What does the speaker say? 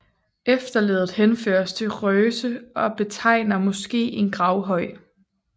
Efterleddet henføres til røse og betegner måske en gravhøj